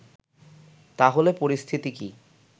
তা হলে পরিস্থিতি কি